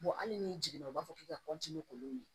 hali n'i jigin na u b'a fɔ k'i ka k'olu ye